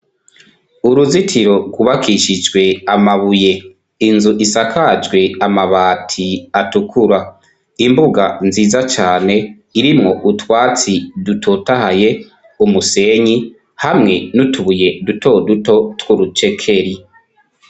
uruzitiro kubakishijwe amabuye inzu isakajwe amabati atukura imbuga nziza cyane irimwo utwatsi dutotahaye umusenyi hamwe n'utubuye duto duto twurucekeri.